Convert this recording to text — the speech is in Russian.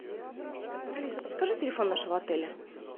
алиса подскажи телефон нашего отеля